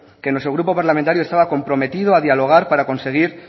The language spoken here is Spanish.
que nuestro grupo parlamentario estaba comprometido a dialogar para conseguir